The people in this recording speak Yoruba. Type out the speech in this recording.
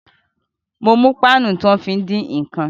Mo mú páànù tí o fí ń dín ǹkan